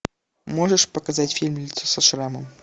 можешь показать фильм лицо со шрамом